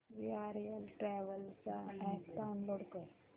VRL travels चा app download कर